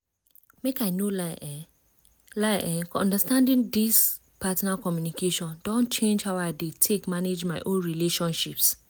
make i no lie eh lie eh understanding this partner communication don change how i dey take manage my own relationships.